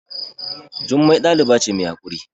Jummai ɗaliba ce mai haƙuri